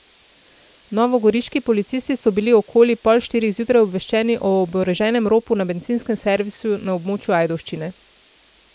Novogoriški policisti so bili okoli pol štirih zjutraj obveščeni o oboroženem ropu na bencinskem servisu na območju Ajdovščine.